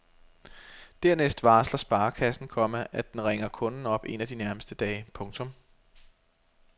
Dernæst varsler sparekassen, komma at den ringer kunden op en af de nærmeste dage. punktum